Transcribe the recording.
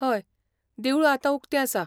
हय, देवूळ आतां उक्तें आसा.